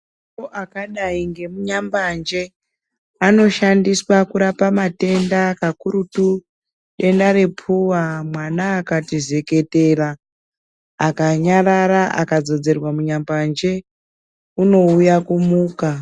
Mutombo akadai ngemu nyambanje ano shandiswa kurapa matenda kakurutu denda repuwa mwana akatii zeketera aka nyarara aka dzodzerwa mu nyambanje uno uya kumuka.